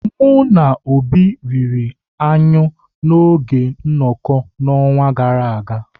Mụ na Obi riri anyụ n'oge nnoko n'ọnwa gara aga.